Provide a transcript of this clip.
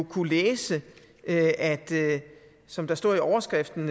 kunne læse at som der står i overskriften